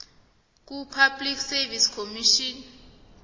kupublic service commission